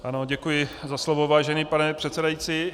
Ano, děkuji za slovo, vážený pane předsedající.